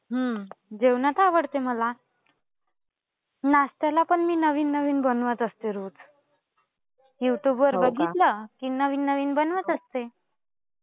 हम्म. जेवणात आवडते मला. नाश्त्याला पण मी नवीन नवीन बनवत असते रोज. युट्युब वर बघितलं की नवीन नवीन बनवत असते.